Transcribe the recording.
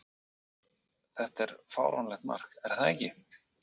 Þetta var fáránlegt mark, er það ekki?